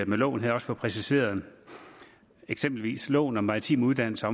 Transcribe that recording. med loven her også får præciseret eksempelvis omfatter loven om maritime uddannelser